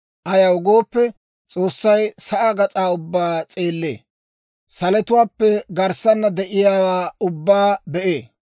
Ayaw gooppe, S'oossay sa'aa gas'aa ubbaa s'eellee; salotuwaappe garssaana de'iyaawaa ubbaa be'ee.